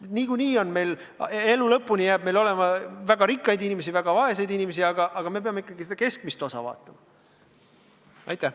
Niikuinii jääb meil alati, aegade lõpuni olema väga rikkaid inimesi ja väga vaeseid inimesi, aga me peame ikkagi põhiliselt silmas pidama seda keskmist osa.